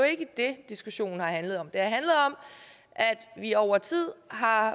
ikke det diskussionen har handlet om at vi over tid har